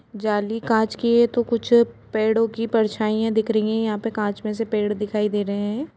जाली कांच की है तो कुछ पेड़ों की परछाइयाँ दिख रही हैं यहाँ पे कांच में से पेड़ दिखाई दे रहे हैं।